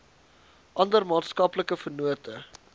ander maatskaplike vennote